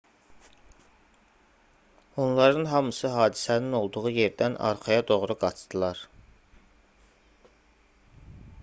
onların hamısı hadisənin olduğu yerdən arxaya doğru qaçdılar